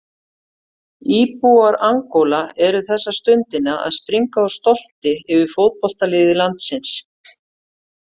Íbúar Angóla eru þessa stundina að springa úr stolti yfir fótboltaliði landsins.